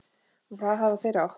Og það hafa þeir átt.